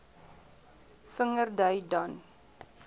vinger dui dan